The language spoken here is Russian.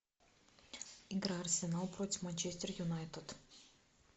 игра арсенал против манчестер юнайтед